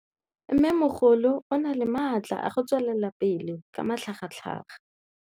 Mmêmogolo o na le matla a go tswelela pele ka matlhagatlhaga.